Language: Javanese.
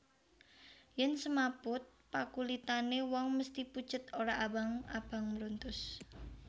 Yen semaput pakulitane wong mesthi pucet ora abang abang mruntus